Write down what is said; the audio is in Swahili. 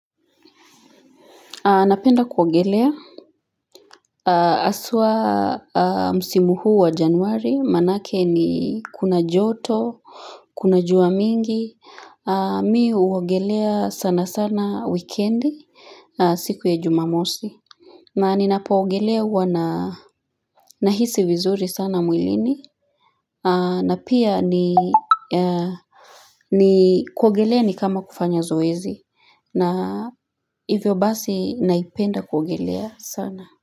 Napenda kuwagelea Aswa msimuhu wa januari manake ni kuna joto Kuna jua mingi mi uwagelea sana sana weekendi siku ya jumamosi na ninapa wagelea wana Nahisi vizuri sana mwilini na pia ni ni kuwagelea ni kama kufanya zoezi na hivyo basi naipenda kuwagelea sana.